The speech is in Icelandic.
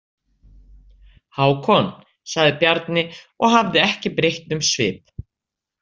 Hákon, sagði Bjarni og hafði ekki breytt um svip.